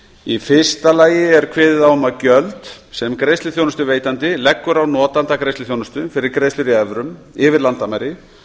í fyrsta lagi er kveðið á um að gjöld sem greiðsluþjónustuveitandi leggur á notanda greiðsluþjónustu fyrir greiðslur í evrum yfir landamæri